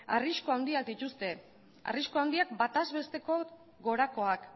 arrisku handiak dituzte arrisku handiak bataz besteko gorakoak